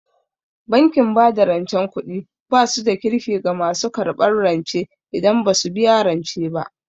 Bankin bada rancen kuɗi basu da Kirki ga masu karɓan rance idan basu biya rance ba